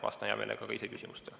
Vastan hea meelega küsimustele.